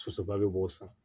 Sosoba de b'o san